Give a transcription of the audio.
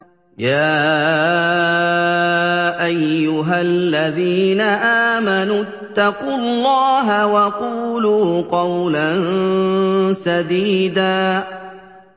يَا أَيُّهَا الَّذِينَ آمَنُوا اتَّقُوا اللَّهَ وَقُولُوا قَوْلًا سَدِيدًا